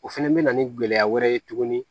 O fɛnɛ bɛ na ni gɛlɛya wɛrɛ ye tuguni